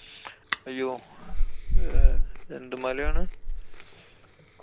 അയ്യോ! ഏർ എന്തു മലയാണ്?